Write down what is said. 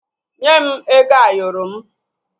Nye m ego Ayoro m!